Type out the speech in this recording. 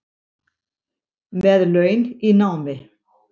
Með laun í námi